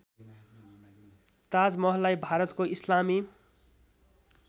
ताजमहललाई भारतको इस्लामी